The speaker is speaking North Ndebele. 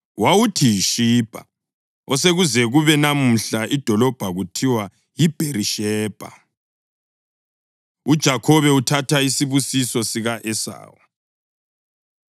Wawuthi yiShibha, osekuze kube namuhla idolobho kuthiwa yiBherishebha. UJakhobe Uthatha Isibusiso Sika-Esawu